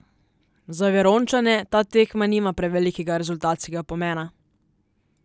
Za Verončane ta tekma nima prevelikega rezultatskega pomena.